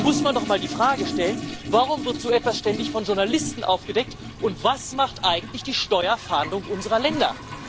Und da muss man doch mal die Frage stellen Warum wird so etwas ständig von Journalisten aufgedeckt, und was macht eigentlich die Steuerfahndung unserer Länder?